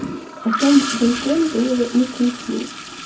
а там балкон было на кухню